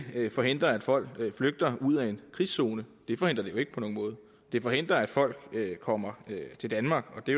forhindre at folk flygter ud af en krigszone det forhindrer det jo ikke på nogen måde det forhindrer at folk kommer til danmark og det